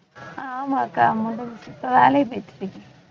ஆமாக்கா முடிஞ்சி இப்ப வேலைக்கு போயிட்டிருக்கேன்